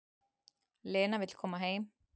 Lena vill koma heim.